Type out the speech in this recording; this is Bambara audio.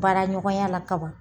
Baara ɲɔgɔnyala ka ban.